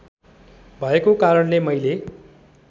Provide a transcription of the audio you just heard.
भएको कारणले मैले